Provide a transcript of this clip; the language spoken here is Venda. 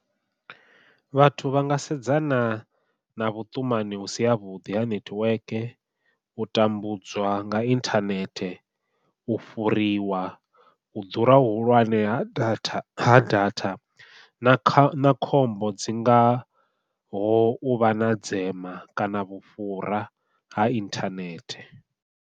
Vhathu vha nga sedzana na vhuṱumani hu si ha vhuḓi ha nethiweke, u tambudzwa nga inthanethe, u fhuriwa, u ḓura hu hulwane ha datha ha datha na kha khombo dzi ngaho u vha na dzema kana vhufhura ha inthanethe.